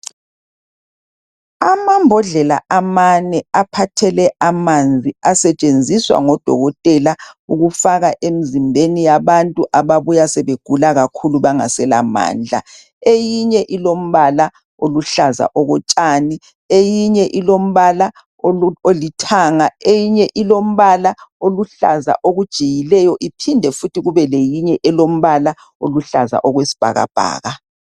Amambodlela amane aphathele amanzi asetshenziswa ngodokotela ukufaka emzimbeni yabantu ababuya sebegula kakhulu bangasela mandla. Eyinye ilombala oluhlaza okotshani, eyinye ilombala olithanga, eyinye olombala oluhlaza okujiyileyo iphinde futhi kubeleyinye olombala oluhlaza okwesibhakabhaka.